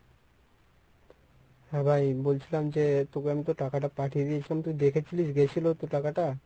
হ্যাঁ ভাই বলছিলাম যে তোকে আমি তো টাকাটা পাঠিয়ে দিয়েছিলাম তুই দেখেছিলিস গেছিল তো টাকাটা?